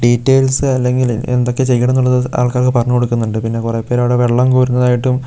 details അല്ലെങ്കിൽ എന്തൊക്കെ ചെയ്യണം എന്നുള്ളത് ആൾക്കാർക്ക് പറഞ്ഞു കൊടുക്കുന്നുണ്ട് പിന്നെ കുറെ പേർ അവിടെ വെള്ളം കോരുന്നതായിട്ടും--